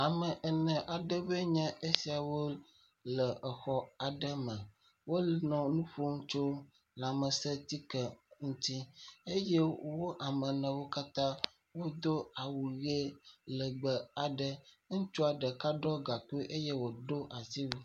Ame ene aɖewoe nye esiawo le xɔ aɖe me, wole nu ƒom tso lãmesẽtike ŋuti eye wo ame newo katã wodo awu ʋe legbe, ŋutsua ɖeka ɖɔ gankui eye wòdo asiwu.